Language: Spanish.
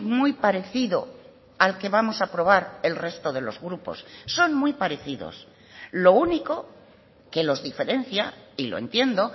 muy parecido al que vamos a aprobar el resto de los grupos son muy parecidos lo único que los diferencia y lo entiendo